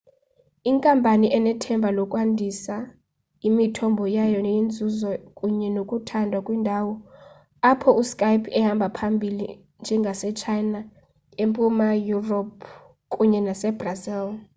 inkampani inethemba lokwandisa imithombo yayo yenzuzo kunye nokuthandwa kwiindawo apho uskype ehamba phambili njengasechina empuma yurophu kunye nasebrazil